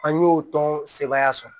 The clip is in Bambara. An y'o tɔn sebaaya sɔrɔ